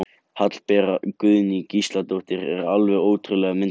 Hallbera Guðný Gísladóttir er alveg ótrúlega myndarleg